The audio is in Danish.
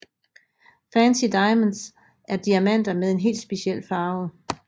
Fancy diamonds er diamanter med en helt speciel farve